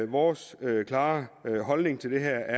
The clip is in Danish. vores klare holdning til det her